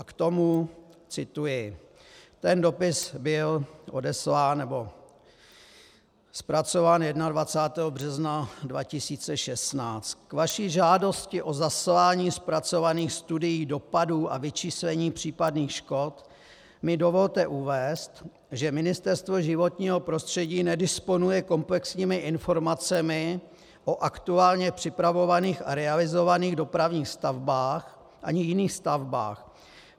A k tomu cituji - ten dopis byl odeslán nebo zpracován 21. března 2016: K vaší žádosti o zaslání zpracovaných studií dopadů a vyčíslení případných škod mi dovolte uvést, že Ministerstvo životního prostředí nedisponuje komplexními informacemi o aktuálně připravovaných a realizovaných dopravních stavbách ani jiných stavbách.